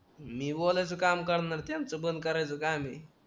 मी बोलायचं काम करणार त्यांचं बंद करायचं काम आहे